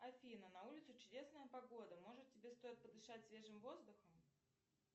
афина на улице чудесная погода может тебе стоит подышать свежим воздухом